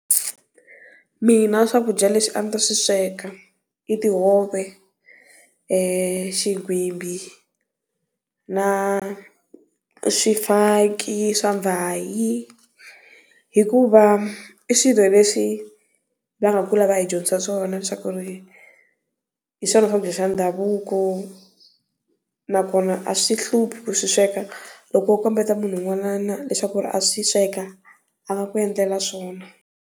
Mina swakudya leswi a ndzi ta swi sweka i tihove , xigwimbhi na swifaki swa vhayi hikuva i swilo leswi va nga kula va hi dyondzisa swona swa ku ri hi swona swakudya swa ndhavuko, na kona a swi hluphi ku swi sweka loko o komba munhu un'wana leswaku a swi sweka a nga ku endlela swona.